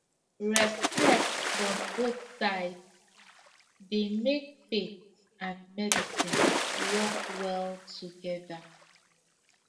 respect from both sides dey make faith and medicine work well together